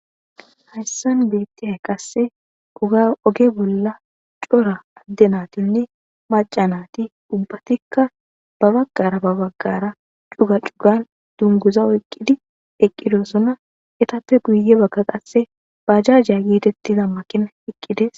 hayssan beettihay qasse uga oge bolla cora adde natinne macanati ubbatikka babaggara babaggara cuga cugan dunguza oyqqidi eqqidosona etappe guye bagka qasse bajajiya gietettiza makina eqqides